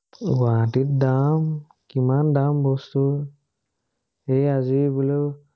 গুৱাহাটীত দাম, কিমান দাম বস্তুৰ। এই আজি বোলো